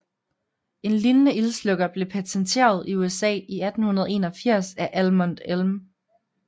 En lignende ildslukker blev patenteret i USA i 1881 af Almon M